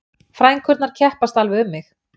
Frænkurnar keppast alveg um mig